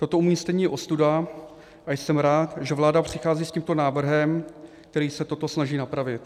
Toto umístění je ostuda a jsem rád, že vláda přichází s tímto návrhem, který se toto snaží napravit.